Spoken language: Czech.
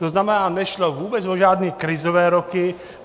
To znamená, nešlo vůbec o žádné krizové roky.